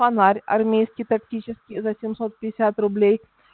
фонарь армейский тактический за семьсот пятьдесят рублей